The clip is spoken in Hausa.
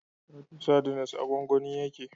Titus sardines a gwangwani yake